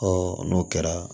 n'o kɛra